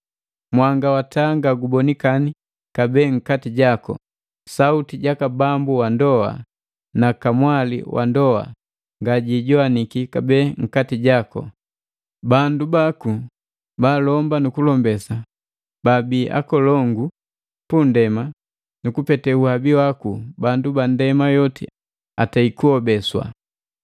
Mwanga wa taa nga gubonikani kabee nkati jaku, sauti jaka bambu wandoa na kamwali wandoa nga yijowaniki kabee nkati jaku. Bandu baku baalomba nu kulombesa babia hakolongu pu nndema, nu kupete uhabi waku bandu ba ndema yoti atei kuhobeswa!”